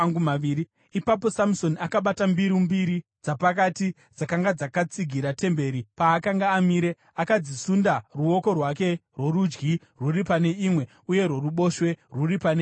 Ipapo Samusoni akabata mbiru mbiri dzapakati dzakanga dzakatsigira temberi paakanga amire. Akadzisunda, ruoko rwake rworudyi rwuri pane imwe uye rworuboshwe rwuri pane imwe yacho.